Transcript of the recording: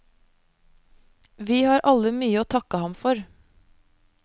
Vi har alle mye å takke ham for.